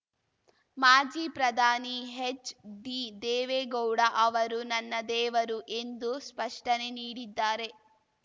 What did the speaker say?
ಮಾಜಿ ಪ್ರಧಾನಿ ಎಚ್‌ಡಿದೇವೇಗೌಡ ಅವರು ನನ್ನ ದೇವರು ಎಂದು ಸ್ಪಷ್ಟನೆ ನೀಡಿದ್ದಾರೆ